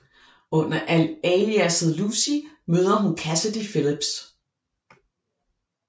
Under aliasset Lucy møder hun Cassidy Phillips